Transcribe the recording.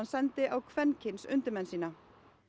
sendi á kvenkyns undirmenn sína